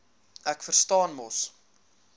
ek verstaan mos